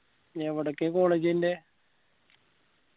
ഇനി എവിടേക്കാ college ഇൻറെ